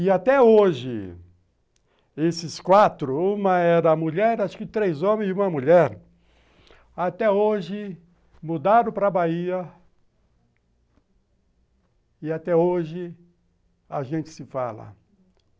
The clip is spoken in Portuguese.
E até hoje, esses quatro, uma era mulher, acho que três homens e uma mulher, até hoje mudaram para a Bahia e até hoje a gente se fala.